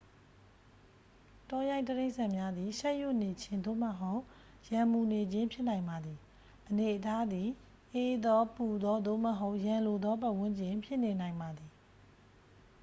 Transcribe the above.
တောရိုင်းတိရစ္ဆာန်များသည် ရှက်ရွံ့နေခြင်း သို့မဟုတ် ရန်မူနေခြင်း ဖြစ်နိုင်ပါသည် အနေအထားသည် အေးသော ပူသော သို့မဟုတ် ရန်လိုသောပတ်ဝန်းကျင် ဖြစ်နေနိုင်ပါသည်